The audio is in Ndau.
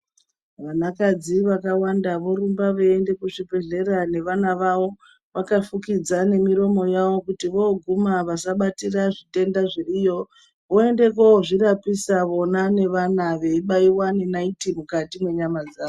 Vanakadzi vakawanda vorumba veiende kuzvibhehleya nevana vavo vakafukidza nemiromo yavo kuti voguma vasabatira zvitenda zviriyo voende kozvirapisa vona nevana vavo veibaiwa ngenaiti mukati mwenyama dzawo.